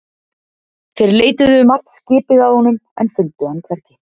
Þeir leituðu um allt skipið að honum en fundu hann hvergi.